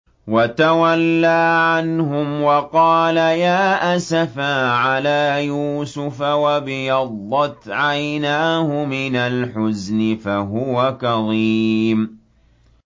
وَتَوَلَّىٰ عَنْهُمْ وَقَالَ يَا أَسَفَىٰ عَلَىٰ يُوسُفَ وَابْيَضَّتْ عَيْنَاهُ مِنَ الْحُزْنِ فَهُوَ كَظِيمٌ